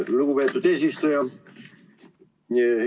Lugupeetud eesistuja!